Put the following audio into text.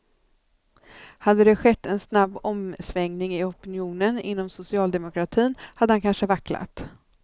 Hade det skett en snabb omsvängning i opinionen inom socialdemokratin hade han kanske vacklat.